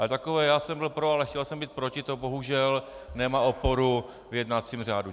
Ale takové já jsem byl pro a chtěl jsem být proti, to bohužel nemá oporu v jednacím řádu.